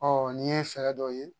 n'i ye fɛɛrɛ dɔ ye